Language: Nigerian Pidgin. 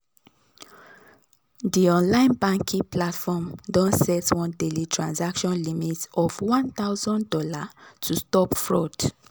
di online banking platform don set one daily transaction limit of one thousand dollars to stop fraud.